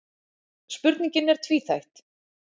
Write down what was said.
Spurningin er tvíþætt.